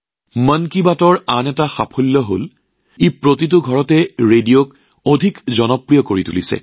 মন কী বাতৰ আন এক কৃতিত্ব হল ই ৰেডিঅক প্ৰতি ঘৰে ঘৰে অধিক জনপ্ৰিয় কৰি তুলিছে